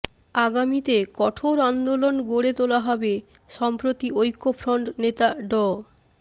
আগামীতে কঠোর আন্দোলন গড়ে তোলা হবে সম্প্রতি ঐক্যফ্রন্ট নেতা ড